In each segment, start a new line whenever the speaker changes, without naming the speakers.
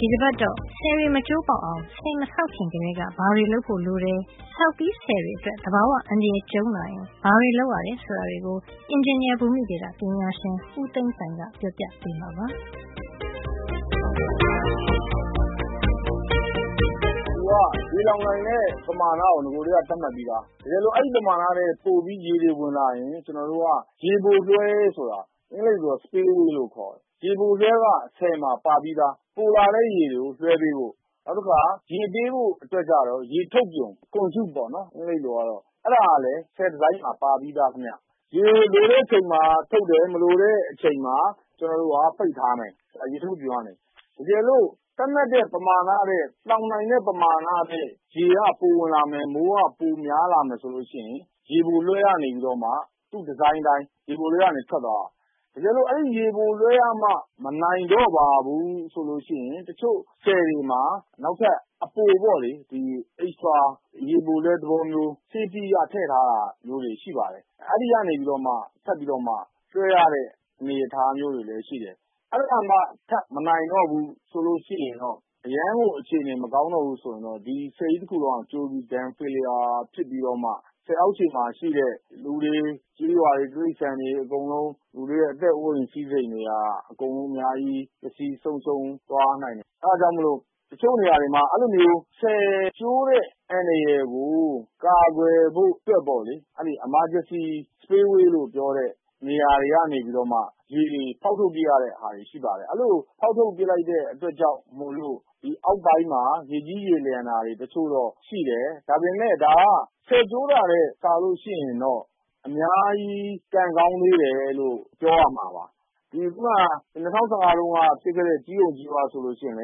ဒီတပတ်တော့ ဆည်တွေ မကျိုးမပေါက်အောင် ဆည်မဆောက်ခင်ကတည်းက ဘာတွေလုပ်ဖို့ လိုတယ်၊ ဆောက်ပြီးဆည်တွေအတွက် သဘာဝအန္တရာယ် ကြုံလာရင် ဘာတွေလုပ်ရတယ် ဆိုတာတွေကို အင်ဂျင်နီယာ ဘူမိဗေဒပညာရှင် ဦးသိန်းပိုင်က ပြောပြပေးမှာပါ။
“ဆည်ကတော့ ရေလှောင်နိုင်တဲ့ပမာဏကို နဂိုကတည်းက သတ်မှတ်ပြီးသား။တကယ်လို့ သတ်မှတ်တဲ့ ပမာဏထက်၊ လှောင်နိုင်တဲ့ ပမာဏထက် ရေတွေ ပိုပြီးဝင်လာရင် ကျွန်တော်တို့က ရေပိုလွှဲဆိုတာ spillway လို့ခေါ်တယ်။ ရေပိုလွှဲက ဆည်မှာ ပါပြီးသား။ ပိုလာတဲ့ရေတွေကို လွှဲပေးဖို့။ နောက်တခါ ရေပေးဖို့အတွက်ကျတော့ ရေထုတ်ပြွန် conduit ပေါ့နော်။ အဲဒါကလည်း ဆည်ဒီဇိုင်းမှာ ပါပြီးသားခင်ဗျ။ ရေကို လိုတဲ့အချိန်မှာ ထုတ်တယ်။ မလိုတဲ့ အချိန်မှာ ပိတ်ထားမယ်။ အဲဒီပြွန်ကနေ။ တကယ်လို့ သတ်မှတ်တဲ့ ပမာဏ၊ လှောင်နိုင်မယ့် ပမာဏထက် မိုးကပိုဝင်လာမယ်၊ ရေက ပိုဝင်လာမယ်ဆိုရင် ရေပိုလွှဲကနေပြီးတော့ သူ့ဒီဇိုင်းအတိုင်း ရေပိုလွှဲကနေ ထွက်သွားရမယ်။ တကယ်လို့ အဲဒီလို ရေပိုလွှဲကမှ မနိုင်တော့ဘူးဆိုရင် တချို့ဆည်တွေမှာ နောက်ထပ် အပိုပေါ့လေ။ ရေပိုလွှဲသဘောမျိုး safety အရ ထည့်ထားတာ ရှိပါတယ်။ အဲဒီကနေ ထပ်ပြီး လွှဲရတဲ့ အနေထား မျိုးတွေလည်း ရှိပါတယ်။” “အဲဒါကမှ ထပ်ပြီး မနိုင်တော့ဘူးဆိုရင် အရမ်းကို အခြေနေ မကောင်းတော့ဘူးဆိုရင်တော့ ဒီဆည်ကြီးတခုလုံးက ကျိုးပျက်ပြီး dam failure ဖြစ်ပြီး ဆည်အောက်ခြေမှာရှိတဲ့ လူတွေ၊ ကျေးရွာတွေ၊ တိရိစ္ဆာန်တွေ အကုန်ပျက်စီး ဆုံးရှုံးသွားနိုင်တယ်။ အဲဒါကြောင့်မို့ တချို့နေရာတွေမှာ အဲဒီလိုမျိုး ဆည်ကျိုးတဲ့အန္တရာယ်ကို ကာကွယ်ဖို့အတွက် Emergency spillway လို့ခေါ်တဲ့ နေရာတွေကနေပြီးတော့မှ ရေတွေကို ဖေါက်ထုတ်ပစ်ရတဲ့ အခါတွေလည်း ရှိပါတယ်။ အဲဒီလို ဖေါက်ထုတ်ပစ်လိုက်တဲ့ အတွက်ကြောင့် ဆည်အောက်ပိုင်းမှာ ရေကြီး ရေလျှံတာ တချို့တော့ရှိတယ်။ ဒါပေမယ့် ဒါက ဆည်ကျိုးတာနဲ့စာရင်တော့ အများကြီး ကံကောင်းသေးတယ်လို့ ပြောရမှာပါ။” “၂၀၁၅ တုန်းက ဖြစ်ခဲ့တဲ့ ကျီးအုံကျီးမ ဆည်ဆိုရင်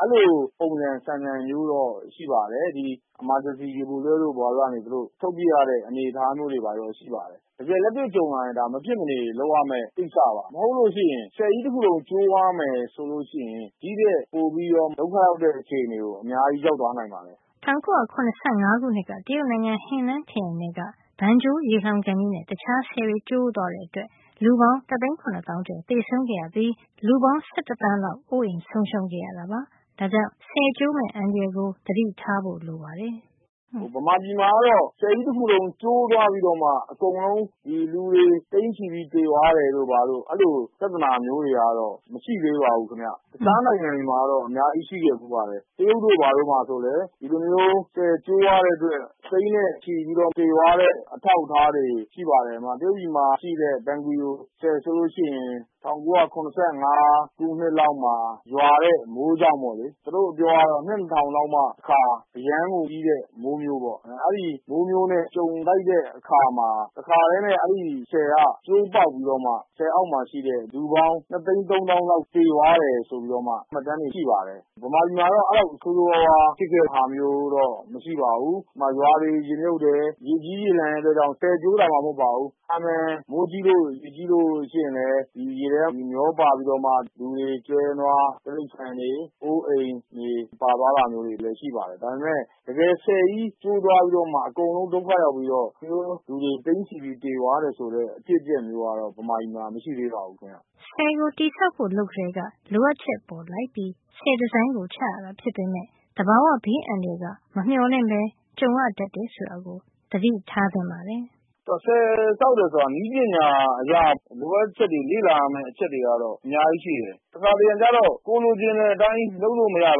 အဲဒီလို ပုံစံဆန်ဆန်မျိုး ဖြစ်ပါတယ်။ Emergency spillway တို့ ဘာတို့ကနေ ထုတ်ပစ်ရတဲ့ အနေအထားမျိုးလည်း ရှိပါတယ်။ တကယ်လက်တွေ့ ကြုံရရင် ဒါက မဖြစ်မနေ လုပ်ရမယ့်ကိစ္စပါ။ တကယ်တမ်းဆိုရင် ဆည်ကြီးတခုလုံး ကျိုးသွားမယ်ဆိုလို့ ရှိရင် ဒီ့ထက်ပိုပြီး ဒုက္ခရောက်တဲ့ အခြေနေကို အများကြီး ရောက်သွားနိုင်တာပေါ့။
” ၁၉၇၅ ခုနှစ်က တရုတ်နိုင်ငံ Henan ခရိုင်ထဲက Banqiao ရေလှောင်ကန်ကြီးနဲ့ တခြားဆည်တွေ ကျိုးသွားတဲ့အတွက် လူပေါင်း တသိန်း ၇ သောင်းကျော် သေဆုံးခဲ့ရပြီး လူပေါင်း ၁၁ သန်းလောက် အိုးအိမ်ဆုံးရှုံးခဲ့ရတာပါ။ ဒါကြောင့် ဒီဆည်ကျိုးမယ့် အန္တရာယ်ကို သတိထားဖို့ လိုပါတယ်။ “မြန်မ
ာပြည်မှာကတော့ ဆည်ကြီးတခုလုံး ကျိုးသွားပြီးတော့ လူတွေ သိန်းချီပြီးသေသွားတာတို့ ဘာတို့လို ပြဿနာမျိုးတွေကတော့ မရှိသေးပါဘူး။ တခြားနိုင်ငံတွေမှာကတော့ အများကြီး ရှိခဲ့ဘူးပါတယ်။ တရုတ်တို့ ဘာတို့မှာ ဒီလို တကယ် ဆည်ကျိုးပြီး သိန်းနဲ့ချီသေသွားတဲ့ အထောက်အထားတွေ ရှိပါတယ်။တရုတ်နိုင်ငံမှာ Banqiao ဆည်ကြီးက ၁၉၇၅ ခုနှစ်မှာ ရွာတဲ့မိုးကြောင့် ပေါ့လေ။ သူတို့အပြောကတော့ အနှစ်တထောင်လောက်မှာမှ တခါရွာတဲ့ အရမ်းကို ကြီးတဲ့ မိုးမျိုးပေါ့လေ။ ဒီလိုမိုးမျိုးနဲ့ ကြုံလိုက်တဲ့အခါ ဒီဆည်က တခါထဲ ကျိုးပေါက်ပြီး ဆည်အောက် နေ လူပေါင်း သိန်းနဲ့ချီ သေဆုံး သွားတယ်ဆိုတဲ့ မှတ်တမ်းတွေ ရှိပါတယ်။” “မြန်မာပြည်မှာတော့ အဲဒီလောက် ဆိုးဆိုးဝါးဝါး ဖြစ်တာမျိုးတော့ မရှိပါဘူး။ ရွာတွေ ရေမြုပ်တယ်။ ရေကြီးရေလျှံတယ်။ ဆည်ကျိုးမှ မဟုတ်ပါဘူး။ မိုကြီးရင်လည်း ရေထဲမျောပါပြီး လူတွေ ကျွဲနွားတွေ အိုးအိမ်တွေ မျောပါတာလည်း ရှိပါတယ်။ ဒါပေမယ့် ဆည်ကြီး ကျိုးသွားပြီးမှ အကုန်လုံး ဒုက္ခရောက်ပြီးမှ လူတွေ သိန်းချီပြီး သေသွားတယ် ဆိုတဲ့ အဖြစ်အပျက်မျိုးကတော့ မြန်မာပြည်မှာ မရှိသေးဘူး။-
” ဆည်ကိုတည်ဆောက်ဖို့ လုပ်ကတည်းက လိုအပ်ချက်ပေါ်လိုက်ပြီး ဆည်ဒီဇိုင်းကိုချရတာ ဖြစ်ပေမယ့် သဘာဝဘေးအန္တရာယ်ကမမျှော်လင့်ပဲ ကြုံရတတ်တာကို သိထားဖို့ပါတယ်။
“ဆည်ဆောက်တယ်ဆိုတာ နည်းပညာအရ လိုအပ်ချက်တွေ၊ လေ့လာရမယ့် အချက်တွေကတော့ အများကြီးရှိတယ်။ တခါတရံကျတော့ ကိုယ်လိုချင်တဲ့အတိုင်း လုပ်လို့ မရနိုင်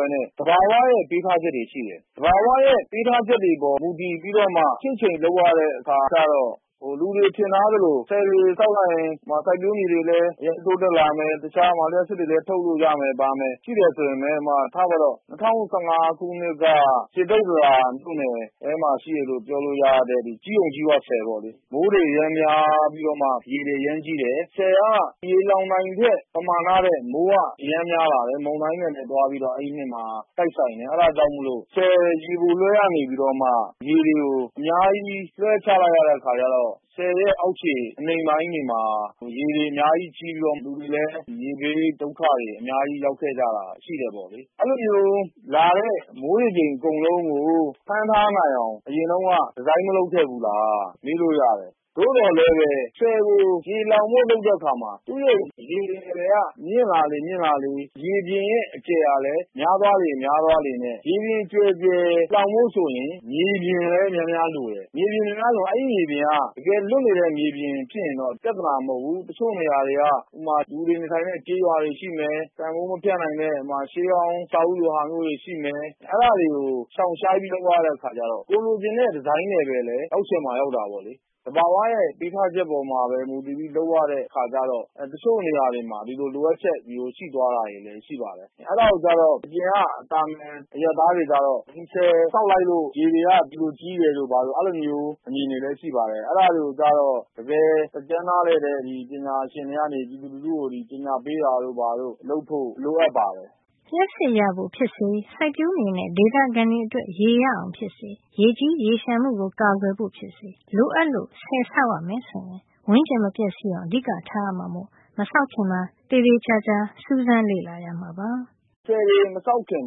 ဘဲနဲ့ သဘာဝရဲ့ ပေးထားချက်တွေရှိတယ်။သဘာဝရဲ့ ပေးထားချက်တွေပေါ်မူတည်ပြီးမှ ချင့်ချိန်လုပ်ရတဲ့ အခါကျတော့ လူအများထင်ထားသလို ဆည်တွေဆောက်လိုက်ရင် ပတ်ဝန်းကျင်အတွက်လည်း တိုးတက်လာမယ်။ လျှပ်စစ်တွေလည်းရမယ်၊ ဆိုတာမျိုးမှန်းထားတာရှိတယ်။” “၂၀၁၅ ခုနှစ်က စေတုတ္တရာ မြို့နယ်ထဲမှာ ရှိတယ်လို့ ပြောလို့ရတဲ့ ကျီးအုံကျီးမ ဆည်ပေါ့။ မိုးတွေ အရမ်းကြီးပြီးမှ ရေတွေ အရမ်းကြီးတယ်။ ဆည်က ရေလှောင်နိုင်တဲ့ ပမာဏထက် မိုးက အရမ်းများလာတယ်။ မုန်တိုင်း တွေ တိုက်ပြီးတော့မှ၊ အဲဒီနှစ်မှာ တိုက်ဆိုင်တယ်။ အဲဒါကြောင့်မို့ ဆည်ရေပိုလွှဲကနေ ပြီးတော့မှ ရေတွေကို အများကြီး လွှဲချလိုက်ရတဲ့ အခါကျတော့ ဆည်ရဲ့ အောက်ခြေ အနိမ့်ပိုင်းတွေမှာ ရေကြီးပြီး လူတွေလည်း ရေဘေးဒုက္ခ အများကြီး ရောက်ခဲ့ကြတာပါ။” “အဲဒီလိုရွာတဲ့ မိုးရေချိန်အကုန်လုံးကို ဖမ်းထားနိုင်အောင် အရင်တုန်းက ဒီဇိုင်း မလုပ်ခဲ့ဘူးလားလို့ မေးလို့ရတယ်။ သို့သော်လည်းပဲ ဆည်ကို ရေလှောင်ဖို့ လုပ်တဲ့အခါမှာ သူ့ရဲ့ ရေ level ကမြင့်လာလေ ရေပြင်ရဲ့ အကျယ်ကလည်း များသွားလေ ဖြစ်ပါတယ်။ ရေပြင်ကျယ်ကျယ် လှောင်ဖို့ဆိုရင် မြေပြင်လည်း များများ လိုပါတယ်။ အဲဒီမှာ မြေပြင်က တကယ်လွတ်နေတဲ့ မြေပြင် ဖြစ်ရင်တော့ ပြဿနာ မဟုတ်ဖူး။ တချို့နေရာတွေက ကျေးရွာတွေ ရှိမယ်။ အဖိုးမဖြတ်နိုင်တဲ့ ရှေးဟောင်း အဆောက်အဦးလိုမျိုး ရှိမယ်။” “အဲဒါတွေကို ရှောင်ရှားပြီး လုပ်ရတဲ့ အခါကျတော့၊ ကိုယ်လိုချင်တဲ့ ဒီဇိုင်းလည်း ရချင်မှရတာပေါ့။ သဘာဝရဲ့ ပေးထားချက်ပေါ်မှာပဲ မူတည်ပြီး လုပ်ရတဲ့ အခါကျတော့ တချို့နေရာ တွေမှာ ဒီလို လိုအပ်ချက်တွေရှိသွားတာ တွေလည်း ဖြစ်တတ်ပါတယ်။ အဲဒီလို ဖြစ်တဲ့အခါမျိုးတွေဆို သာမန်အရပ်သားတွေ အတွက်ကတော့ ဆည်ဆောက်လိုက်လို့ ဒီလိုမျိုး ရေတွေ ကြီးသွားတယ် ဆိုတဲ့ အမြင်မျိုးလည်း ရှိပါတယ်။ ဒီလိုဖြစ်တာကို တကယ်တတ်ကျွမ်း နားလည်တဲ့ ပညာရှင်တွေက ပညာပေးတာမျိုး လုပ်ဖို့ လိုအပ်ပါတယ်။”
လျှပ်စစ်ရဖို့ဖြစ်စေ၊ စိုက်ပျိုးမြေနဲ့ ဒေသခံတွေအတွက် ရေရအောင်ဖြစ်စေ ရေကြီါ်ရေလျှံမှုကို ကာကွယ်ဖို့ ဖြစ်စေ လိုအပ်လို့ ဆည်ဆောက်ရမယ် ဆိုရင် ဝန်းကျင်မပျက်စီးအောင် အဓိကထား ရမှာမို့ မဆောက်ခင် သေချာ စူးစမ်းဖို့ လိုအပ်ပါတယ်။
“ဆည်တွေမဆောက်ခင်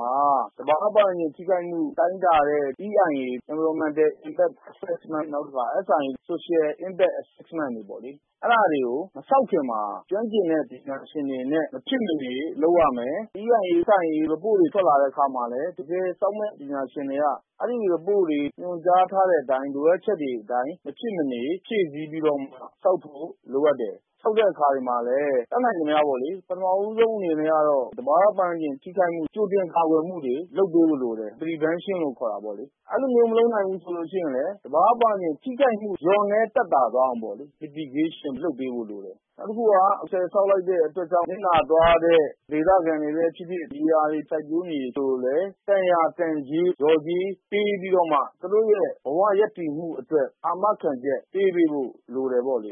မှာ သဘာဝ ပတ်ဝန်းကျင်ထိခိုက်မှု တိုင်းတာတဲ့ EIA Environmental Impact Assessment တို့ SIA Social Impact Assessment တို့ ကို ဆည်မဆောက်ခင်မှာ ကျွမ်းကျင်တဲ့ ပညာရှင်တွေနဲ့ မဖြစ်မနေ လုပ်ရမယ်။ ဒီ ရီပို့တွေ ထွက်လာတဲ့ အခါမှာလည်း တကယ် ဆောက်မယ့် ပညာရှင်တွေက အဲဒီမှာ ညွှန်ကြားထားတဲ့ အတိုင်း လိုအပ်ချက်တွေကို မဖြစ်မနေ ဖြည့်ဆည်း ပြီးတော့မှ ဆောက်ဖို့ လိုအပ်တယ်။” “ဆောက်တဲ့အခါတွေမှာလည်း တတ်နိုင်သမျှ ပေါ့လေ။ ပထမဦးဆုံး အနေနဲ့ကတော့ သဘာဝ ပတ်ဝန်းကျင် ထိခိုက်မှု မရှိအောင် ကြိုတင်ကာကွယ်မှုတွေ လုပ်ပေးဖို့ လိုတယ်။ Prevention ပေါ့လေ။ ဒါမှမဟုတ်လည်း သဘာဝ ဝန်းကျင်ထိခိုက်မှု လျော့နဲ သက်သာသွားအောင် လုပ်ပေးဖို့လိုတယ်။ နောက် တခုက ဆည်ဆောက်လိုက်လို့ ရှိရင် ဆည်ကြောင့်နစ်နာသွားတဲ့ဒေသခံတွေ ဖြစ်ဖြစ် စိုက်ပျိုးမြေတွေအတွက် သက်ဆိုင်ရာက တန်ရာတန်ကြေး လျော်ကြေးပေးပြီးတော့မှ သူတို့ရဲ့ ဘဝရပ်တည်မှုအတွက် အာမခံချက် ပေးပေးဖို့လိုပါတယ်